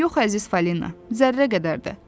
Yox, əziz Falina, zərrə qədər də.